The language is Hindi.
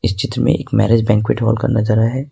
चित्र में एक मैरिज बैंक्विट हॉल का नजारा है।